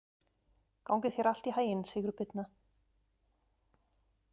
Gangi þér allt í haginn, Sigurbirna.